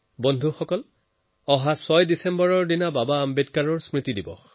বন্ধুসকল কেইদিনমানৰ পিছতে ৬ ডিচেম্বৰত বাবা চাহেব আম্বেদকাৰৰ পূণ্য তিথি